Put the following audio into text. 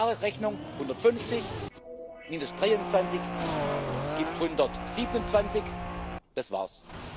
Klare Rechnung 150 minus 23 gibt 127 das wars.